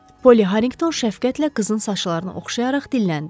Polli Harrinqton şəfqətlə qızın saçlarını oxşayaraq dilləndi.